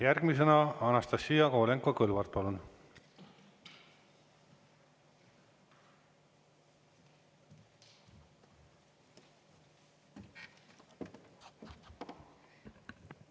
Järgmisena Anastassia Kovalenko-Kõlvart, palun!